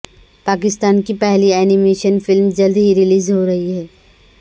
پاکستان کی پہلی animation فلم جلد ہی ریلیز ہو رہی ہے